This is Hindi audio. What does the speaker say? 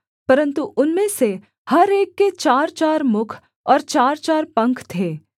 परन्तु उनमें से हर एक के चारचार मुख और चारचार पंख थे